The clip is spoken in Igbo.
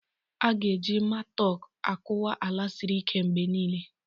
A ga-eji matok akụwa ala siri ike mgbe niile.